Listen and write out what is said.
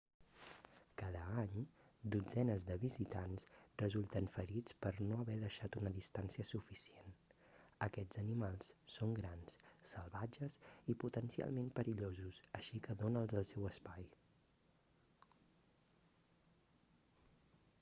cada any dotzenes de visitants resulten ferits per no haver deixat una distància suficient aquests animals són grans salvatges i potencialment perillosos així que dona'ls el seu espai